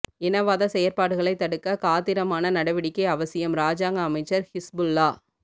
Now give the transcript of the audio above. இனவாத செயற்பாடுகளை தடுக்க காத்திரமான நடவடிக்கை அவசியம் இராஜாங்க அமைச்சர் ஹிஸ்புல்லாஹ்